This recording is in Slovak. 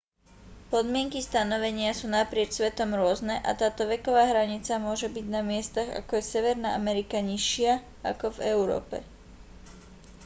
podmienky stanovenia sú naprieč svetom rôzne a táto veková hranica môže byť na miestach ako je severná amerika nižšia ako v európe